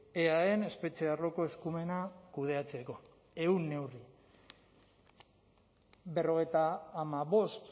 eaen espetxe arloko eskumena kudeatzeko ehun neurri berrogeita hamabost